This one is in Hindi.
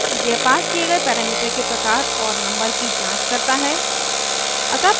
यह passed किए गए पैरामीटर के प्रकार और number की जाँच करता है